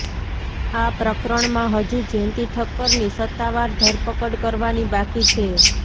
આ પ્રકરણમાં હજુ જેન્તી ઠક્કરની સત્તાવાર ધરપકડ કરવાની બાકી છે